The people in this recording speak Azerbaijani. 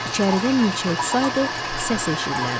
İçəridə milçə uçsaydı, səs eşidilərdi.